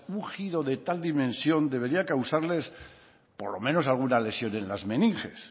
un giro de tal dimensión debería causarles por lo menos alguna lesión en las meninges